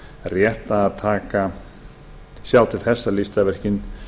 rétt að sjá til þess að listaverkin